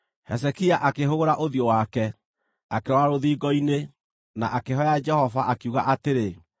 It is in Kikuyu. Hezekia akĩhũgũra ũthiũ wake, akĩrora rũthingo-inĩ, na akĩhooya Jehova, akiuga atĩrĩ,